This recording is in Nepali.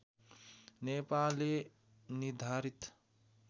नेपाले निर्धारित